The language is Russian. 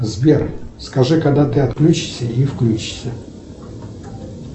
сбер скажи когда ты отключишься и включишься